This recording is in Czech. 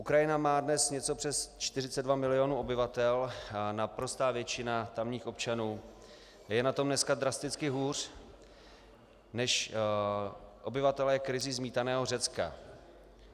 Ukrajina má dnes něco přes 42 milionů obyvatel a naprostá většina tamních občanů je na tom dneska drasticky hůř než obyvatelé krizí zmítaného Řecka.